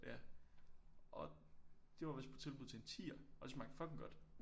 Ja og det var vidst på tilbud til en 10'er og det smagte fucking godt